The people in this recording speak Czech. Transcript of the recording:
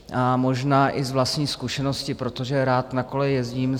A možná i z vlastní zkušenosti, protože rád na kole jezdím.